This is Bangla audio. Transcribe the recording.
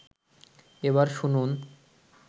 এবার শুনুন